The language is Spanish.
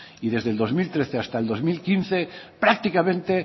desde el dos mil trece hasta el dos mil quince prácticamente